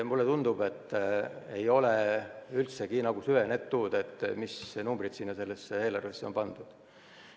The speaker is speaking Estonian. Mulle tundub, et ei ole üldse süvenetud, mis numbrid sellesse eelarvesse on pandud.